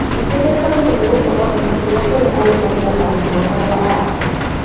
Ningĩ nĩathomithagio gũkorwo na gĩtĩĩo kũrĩ arutani na arutwo arĩa angĩ